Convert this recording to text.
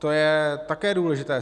To je také důležité.